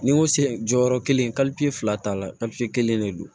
Ni n ko se jɔyɔrɔ kelen fila t'a la kelen de don